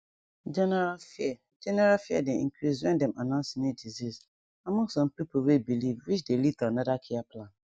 general fear general fear dey increase when dem announce new disease among some pipo way believe which dey lead to another care plan